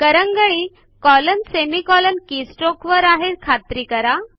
करंगळी colonsemi colour keystroke वर आहे हि खात्री करा